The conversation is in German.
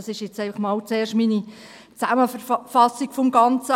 Das ist jetzt einfach zuerst einmal meine Zusammenfassung des Ganzen.